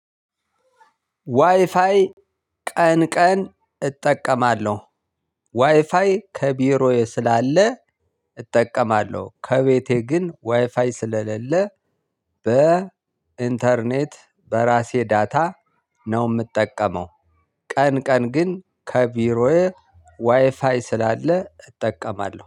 ዋይፋይ ቀንቀን እጠቀማለሁ። ዋይፋይ ከቢሮዬ ስላለ እጠቀማለሁ ከቤቴ ግን ዋይፋይ ስለሌለ በ ኢንተርኔት በራሴ ዳታ ነው የምጠቀመው። ቀን ቀን ግን ከቢሮዬ ዋይፋይ ስላለ እጠቀማለሁ